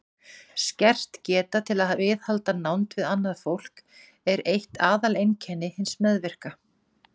Skert geta til að viðhalda nánd við annað fólk er eitt aðaleinkenni hins meðvirka.